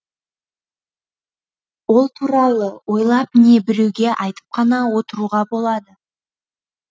ол туралы ойлап не біреуге айтып қана отыруға болады